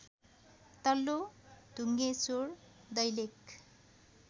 तल्लो डुङ्गेश्वर दैलेख